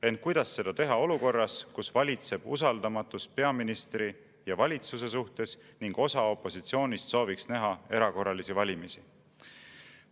Ent kuidas seda teha olukorras, kus valitseb usaldamatus peaministri ja valitsuse suhtes ning osa opositsioonist sooviks näha erakorralisi valimisi?